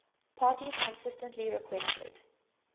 parties consistently requested